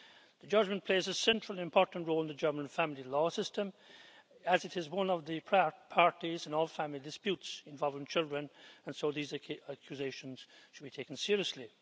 The Jugendamt plays a central, important role in the German family law system as it is one of the prior parties in all family disputes involving children, and so these accusations should be taken seriously.